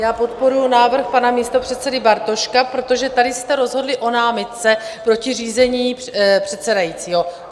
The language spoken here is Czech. Já podporuji návrh pana místopředsedy Bartoška, protože tady jste rozhodli o námitce proti řízení předsedajícího.